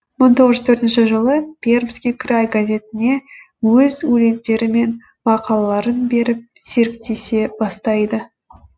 мың тоғыз жүз төртінші жылы пермский край газетіне өз өлеңдері мен мақалаларын беріп серіктесе бастайды